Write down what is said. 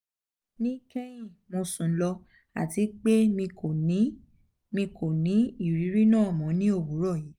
ni kehin mo sun lo ati pe mi ko ni mi ko ni iriri naa mọ ni owurọ yii